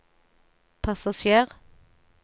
passasjer